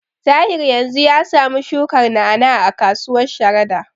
Tahir yanzu ya samu shukar na'a-na'a a kasuwar Sharada.